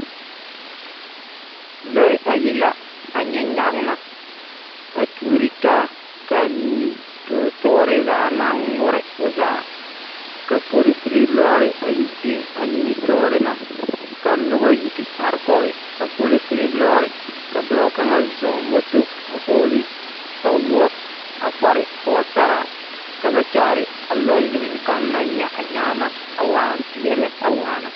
Lͻԑ ayi la a nyԑ nyagema. A tuori taa ka a nimisͻͻ tͻͻre zaa maŋ ŋmore o zaa. Ka polisiri lͻͻre a yi biŋ a nimitͻͻre na. ka noba yi te are kͻge a polisiri lͻͻre. ka dͻͻ kaŋa zͻͻ moto a vͻͻle kpawoͻ a kpare pͻgesaraa ka ba kyaare a lͻͻre na kaŋa naŋ nyԑ na nyagema a waa zeԑ lԑ a waana.